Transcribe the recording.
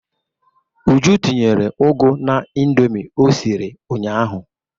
Uju tinyere ụgụ n'Indomi o siri ụnyaahụ.